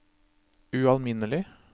ualminnelig